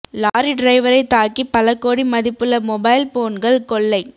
lorry டிரைவரை தாக்கி பல கோடி மதிப்புள்ள மொபைல் போன்கள் கொள்ளை